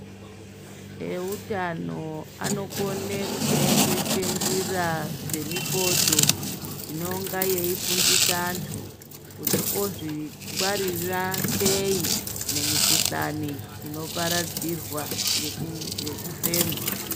Eutano anokone kuseenzese njira dzemifodho inonga yeifundisa antu, kuti ozvingwaririra sei mumikuhlani inoparadzirwa ngekufema.